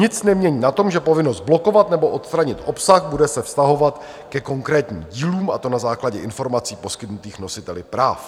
Nic nemění na tom, že povinnost blokovat nebo odstranit obsah se bude vztahovat ke konkrétním dílům, a to na základě informací poskytnutých nositeli práv.